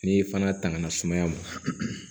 N'i fana tangana sumaya mɔn